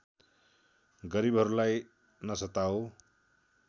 गरीबहरूलाई नसताऊ